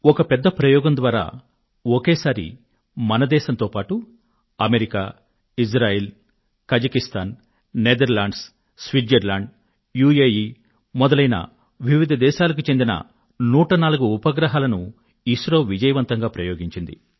ఒక పెద్ద ప్రయోగం ద్వారా ఒకేసారి భారతదేశంతో పాటు America Israel Kazakhstan Netherlands Switzerland UAE వంటి దేశాలకు చెందిన 104 ఉపగ్రహాలను ఐఎస్ఆర్ఒ విజయవంతంగా ప్రయోగించింది